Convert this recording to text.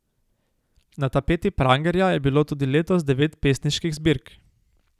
Na tapeti Prangerja je bilo tudi letos devet pesniških zbirk.